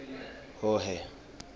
hhohhe